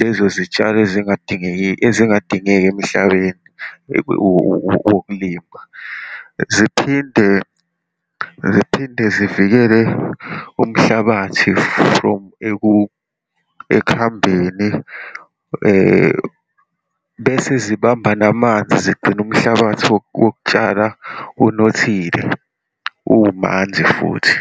lezo zitshalo ezingadingeki, ezingadingeki emhlabeni wokulima. Ziphinde, ziphinde zivikele umhlabathi from ekuhambeni, bese zibamba namanzi, zigcine umhlabathi wokutshala unothile, umanzi futhi.